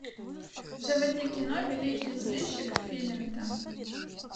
заводи кино великий сыщик филинта